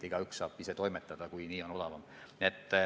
Igaüks saaks ise toimetada, kui nii oleks odavam.